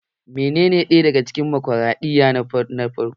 Menene ɗaya daga cikin demokraɗiyya na farko?